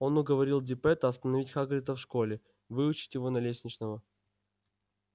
он уговорил диппета оставить хагрида в школе выучить его на лесничего